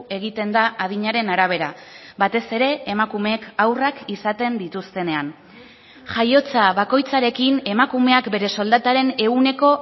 egiten da adinaren arabera batez ere emakumeek haurrak izaten dituztenean jaiotza bakoitzarekin emakumeak bere soldataren ehuneko